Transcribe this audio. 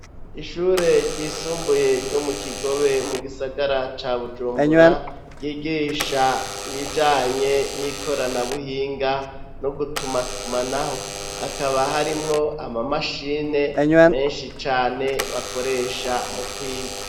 Ishure ryisumbuye ryo mu Kigobe mu gisagara ca Bujumbura ryigisha ibijanye n'ikorana buhinga no gutumatumanaho hakaba harimwo amamashine menshi cane bakoresha mu kwiga.